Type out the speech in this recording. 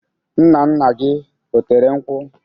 Nna nna gị, o tere nkwụ?